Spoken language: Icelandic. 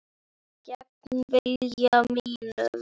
Gegn vilja mínum.